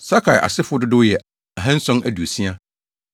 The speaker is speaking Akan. Sakai asefo dodow yɛ 2 760 1